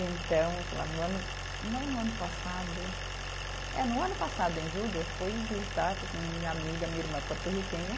Então, sei lá no ano, não no ano passado. É, no ano passado, em julho, eu fui visitar sim minha amiga, minha irmã porto-riquenha.